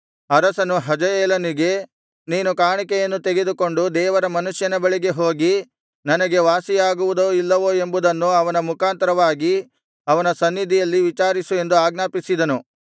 ಅರಸನು ಹಜಾಯೇಲನಿಗೆ ನೀನು ಕಾಣಿಕೆಯನ್ನು ತೆಗೆದುಕೊಂಡು ದೇವರ ಮನುಷ್ಯನ ಬಳಿಗೆ ಹೋಗಿ ನನಗೆ ವಾಸಿಯಾಗುವುದೋ ಇಲ್ಲವೋ ಎಂಬುದನ್ನು ಅವನ ಮುಖಾಂತರವಾಗಿ ಯೆಹೋವನ ಸನ್ನಿಧಿಯಲ್ಲಿ ವಿಚಾರಿಸು ಎಂದು ಆಜ್ಞಾಪಿಸಿದನು